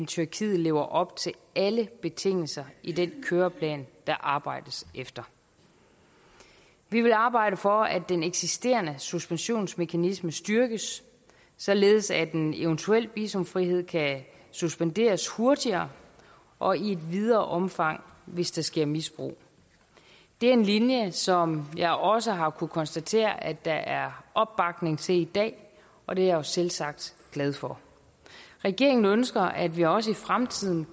tyrkiet lever op til alle betingelser i den køreplan der arbejdes efter vi vil arbejde for at den eksisterende suspensionsmekanisme styrkes således at en eventuel visumfrihed kan suspenderes hurtigere og i et videre omfang hvis der sker misbrug det er en linje som jeg også har kunnet konstatere at der er opbakning til i dag og det er jeg selvsagt glad for regeringen ønsker at vi også i fremtiden